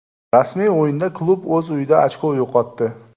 Rasmiy o‘yinda klub o‘z uyida ochko yo‘qotdi.